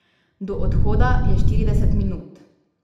Do odhoda je štirideset minut.